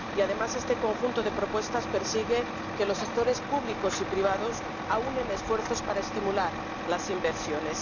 Y, además, este conjunto de propuestas persigue que los sectores públicos y privados aúnen esfuerzos para estimular las inversiones.